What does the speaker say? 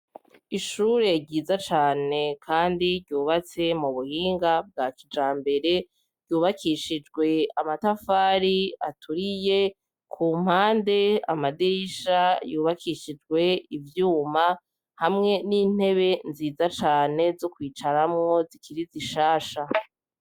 Ishure ryiza cane, kandi ryubatse mu buhinga bwa kija mbere ryubakishijwe amatafari aturiye ku mpande amadirisha yubakishijwe ivyuma hamwe n'intebe nziza cane zo kwicaramo zikiri zishasha.